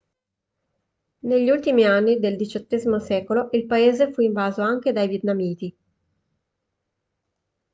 negli ultimi anni del xviii secolo il paese fu invaso anche dai vietnamiti